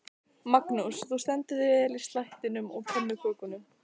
Magnús: Þú stendur þig vel í slættinum og pönnukökunum?